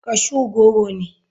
Cashew goro ne.